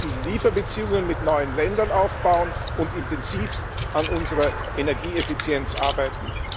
Wir müssen Lieferbeziehungen mit neuen Ländern aufbauen und intensivst an unserer Energieeffizienz arbeiten.